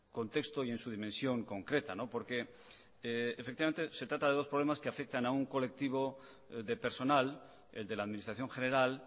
contexto y en su dimensión concreta porque efectivamente se trata de dos problemas que afectan a un colectivo de personal el de la administración general